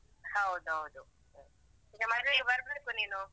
ಹೌದೌದು. ಈಗ ಮದ್ವೆಗೆ ಬರ್ಬೇಕು ನೀನು.